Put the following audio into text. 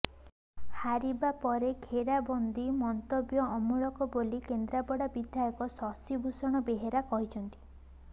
ହାରିବା ପରେ ଘେରାବନ୍ଦୀ ମନ୍ତବ୍ୟ ଅମୂଳକ ବୋଲି କେନ୍ଦ୍ରାପଡ଼ା ବିଧାୟକ ଶଶିଭୂଷଣ ବେହେରା କହିଛନ୍ତି